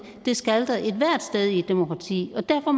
det skal der ethvert sted i et demokrati og derfor